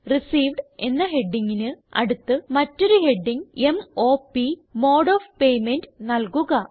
received എന്ന ഹെഡിംഗിന് അടുത്ത് മറ്റൊരു heading m o p mode of payment നല്കുക